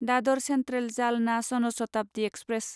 Dadar central Jalna Jan Shatabdi express